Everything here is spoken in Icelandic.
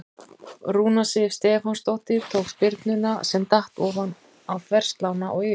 Rúna Sif Stefánsdóttir tók spyrnuna sem datt ofan á þverslánna og yfir.